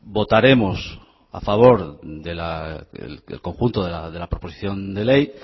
votaremos a favor del conjunto de la proposición de ley